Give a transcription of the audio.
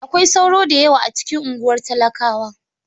Akwai sauro da yawa a cikin unguwar talakawa.